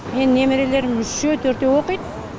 менің немерелерім үшеу төртеу оқиды